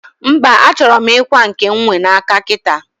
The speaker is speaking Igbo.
mba, achoro m ikwa nke m nwe n'aka kita